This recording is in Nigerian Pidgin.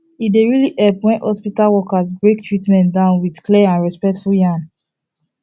e dey really help when hospital workers break treatment down with clear and respectful yarn